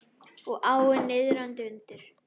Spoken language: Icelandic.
Og áin niðandi undir.